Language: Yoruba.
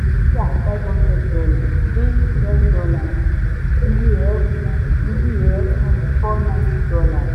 títà five hundred dollars dín ten dollars iye ẹ̀ ku iye ẹ̀ ku four ninety dollars.